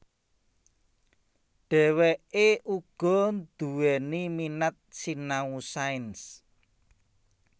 Dheweke uga duwéni minat sinau sains